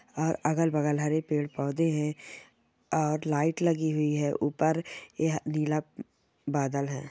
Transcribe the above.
और अगल बगल हरे पेड़ पोधे है और लाइट लगी हुई है उपर यह लीला बादल है।